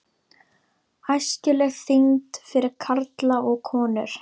ÆSKILEG ÞYNGD FYRIR KARLA OG KONUR